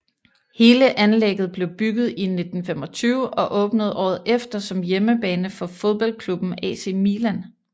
Hele anlægget blev bygget i 1925 og åbnede året efter som hjemmebane for fodboldklubben AC Milan